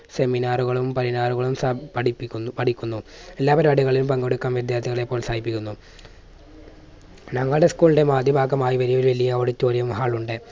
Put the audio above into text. seminar കളും പഠിപ്പിക്കുന്നു പഠിക്കുന്നു. എല്ലാ പരിപാടികളിലും പങ്കെടുക്കാൻ വിദ്യാർത്ഥികളെ പ്രോത്സാഹിപ്പിക്കുന്നു. ഞങ്ങടെ school ൻറെ പാഠ്യഭാഗമായി വലിയ ഒരു വലിയ auditorium hall ഉണ്ട്.